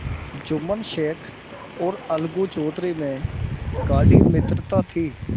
जुम्मन शेख और अलगू चौधरी में गाढ़ी मित्रता थी